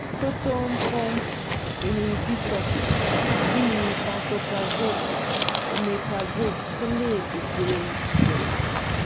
Proton pump inhibitors bi pantoprazole omeprazole tun le pese ìdẹ̀rùn